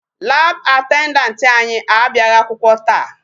Lab attendant anyị abịaghị akwụkwọ taa.